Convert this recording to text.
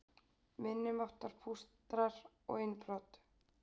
Minniháttar pústrar og innbrot